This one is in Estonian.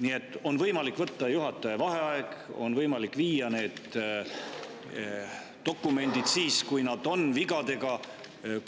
Nii et on võimalik võtta juhataja vaheaeg, on võimalik viia need dokumendid, kui nad on vigadega,